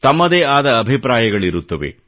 ತಮ್ಮದೇ ಆದ ಅಭಿಪ್ರಾಯಗಳಿರುತ್ತವೆ